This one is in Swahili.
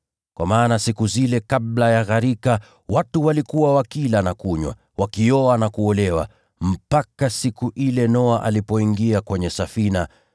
Kwa maana siku zile kabla ya gharika, watu walikuwa wakila na kunywa, wakioa na kuolewa, mpaka siku ile Noa alipoingia katika safina.